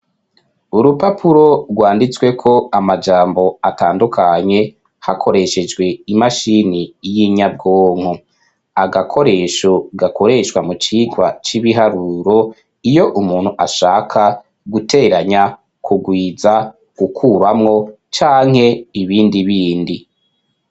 Urupapuro rwanditswe ko amajambo atandukanye hakoreshejwe imashini y'inyabwonko agakoresho gakoreshwa mu cikwa c'ibiharuro iyo umuntu ashaka guteranya kugwiza gukuramwo canke ibindi bindi a.